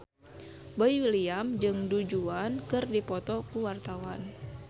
Boy William jeung Du Juan keur dipoto ku wartawan